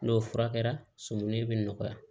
N'o furakɛra sumu bɛ nɔgɔya